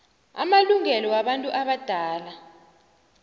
amalungelo wabantu abadala